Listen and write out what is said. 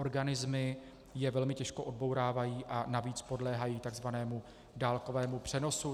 Organismy je velmi těžko odbourávají a navíc podléhají takzvanému dálkového přenosu.